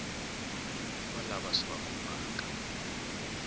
wa lava swi va khumbhaka